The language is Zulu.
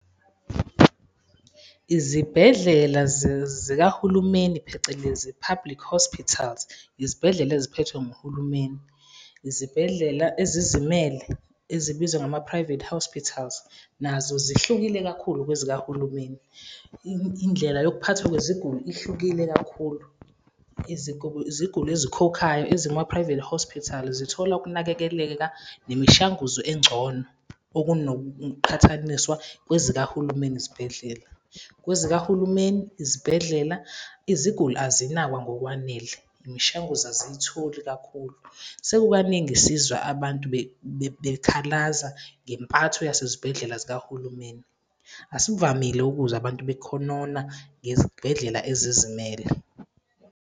Izibhedlela zikahulumeni, phecelezi public hospitals, izibhedlela eziphethwe nguhulumeni, izibhedlela ezizimele ezibizwa ngama-private hospitals, nazo zihlukile kakhulu kwezikahulumeni. Indlela yokuphathwa kweziguli ihlukile kakhulu. Iziguli ezikhokhayo ezikuma-private hospital zithola ukunakekeleka nemishanguzo engcono, okunokuqhathaniswa kezikahulumeni izibhedlela. Kwezikahulumeni izibhedlela iziguli azinakwa ngokwanele, imishanguzo aziyitholi kakhulu. Sekukaningi sizwa abantu bekhalaza ngempatho yasezibhedlela zikahulumeni, asivamile ukuzwa abantu bekhonona ngezibhedlela ezizimele.